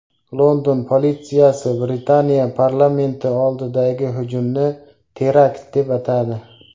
London politsiyasi Britaniya parlamenti oldidagi hujumni terakt deb atadi.